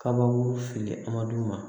Kabakuru fili ama d'u ma